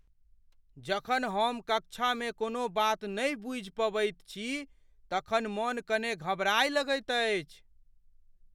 जखन हम कक्षामे कोनो बात नहि बुझि पबैत छी तखन मन कने घबराय लगैत अछि।